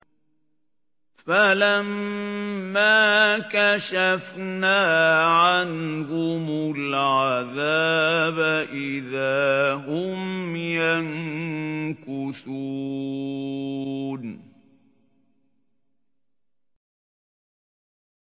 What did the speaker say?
فَلَمَّا كَشَفْنَا عَنْهُمُ الْعَذَابَ إِذَا هُمْ يَنكُثُونَ